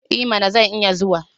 I mana! Zan iya zuwa.